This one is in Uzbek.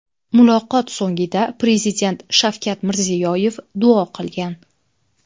Muloqot so‘ngida Prezident Shavkat Mirziyoyev duo qilgan.